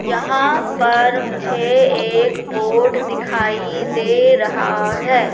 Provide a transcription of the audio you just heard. यहां पर मुझे एक बोर्ड दिखाई दे रहा है।